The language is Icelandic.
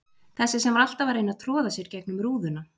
Þessi sem var alltaf að reyna að troða sér gegnum rúðuna.